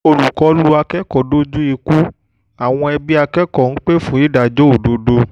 olùkọ́ lu akẹ́kọ̀ọ́ dojú ikú àwọn ẹbí akẹ́kọ̀ọ́ ń pè fún ìdájọ́ òdodo